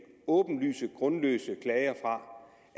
åbenlyst grundløse klager